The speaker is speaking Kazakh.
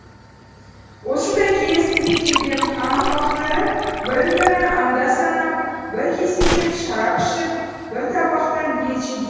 осындай келісімге келген хан ұрпақтары бірін бірі анда санап бір кеседен шарап ішіп бір табақтан ет жеген